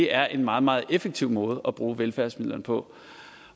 er en meget meget effektiv måde at bruge velfærdsmidlerne på